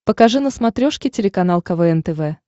покажи на смотрешке телеканал квн тв